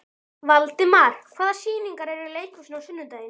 Valdimar, hvaða sýningar eru í leikhúsinu á sunnudaginn?